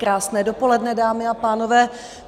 Krásné dopoledne, dámy a pánové.